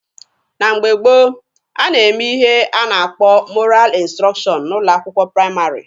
Na mgbe gboo, a na-eme ihe a na-akpọ 'mọral ịnstrọkshọn' n'ụlọ akwụkwọ praịmarị.